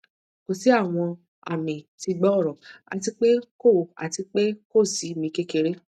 ko si awọn ami ti gbooro ati pe ko ati pe ko si mi kekere